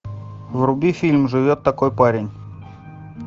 вруби фильм живет такой парень